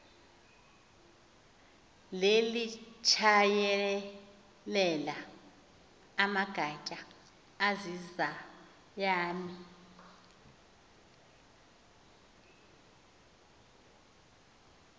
lelitshayelela amagatya azizayami